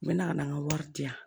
N bɛ na ka na n ka wari di yan